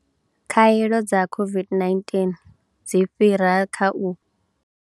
Khaelo dza COVID-19 dzi fhira kha u.